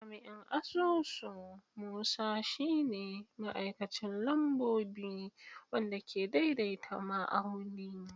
Jami'in asusu Musa shi ne ma'aikacin lambobi wanda ke daidaita ma'auni.